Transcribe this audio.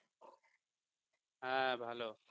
হ্যাঁ ভালো